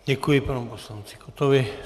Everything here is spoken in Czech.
Děkuji panu poslanci Kottovi.